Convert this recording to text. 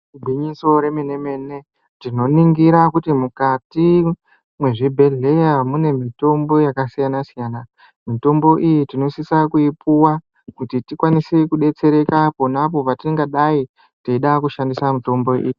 Igwinyiso remene-mene, tinoningira kuti mukati mwezvibhedhleya mune mitombo yakasiyana-siyana. Mitombo iyi tinosisa kuipuva kuti tikwanise kubetsereka ponapo patingadai teida kushandisa mitombo iyi.